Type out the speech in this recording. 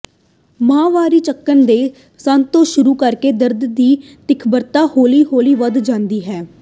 ਮਾਹਵਾਰੀ ਚੱਕਰ ਦੇ ਮੱਧ ਤੋਂ ਸ਼ੁਰੂ ਕਰਕੇ ਦਰਦ ਦੀ ਤੀਬਰਤਾ ਹੌਲੀ ਹੌਲੀ ਵੱਧ ਜਾਂਦੀ ਹੈ